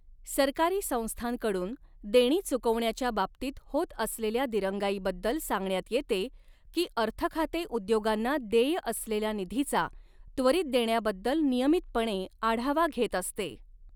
सरकारी संस्थांकडून देणी चुकवण्याच्या बाबतीत होत असलेल्या दिरंगाईबद्दल सांगण्यात येते की अर्थखाते उद्योगांना देय असलेल्या निधीचा त्वरित देण्याबद्दल नियमितपणे आढावा घेत असते.